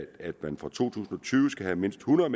at man fra to tusind og tyve skal have mindst hundrede